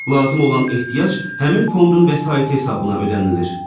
Lazım olan ehtiyat həmin fondun vəsaiti hesabına ödənilir.